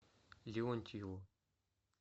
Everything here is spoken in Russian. леонтьеву